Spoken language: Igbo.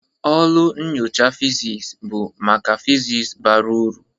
Ụlọ nyocha physics bụ maka physics bara uru.